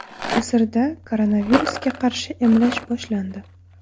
Misrda koronavirusga qarshi emlash boshlandi.